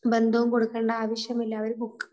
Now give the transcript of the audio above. ബന്ധവും കൊടുക്കേണ്ട ആവശ്യം ഇല്ല. അവര് ബുക്ക്